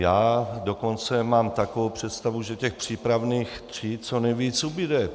Já dokonce mám takovou představu, že těch přípravných tříd co nejvíc ubude.